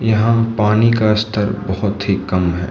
यहां पानी का स्तर बहुत ही कम है।